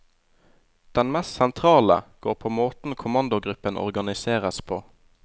Den mest sentrale går på måten kommandogruppen organiseres på.